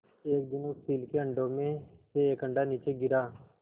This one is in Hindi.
एक दिन उस चील के अंडों में से एक अंडा नीचे गिरा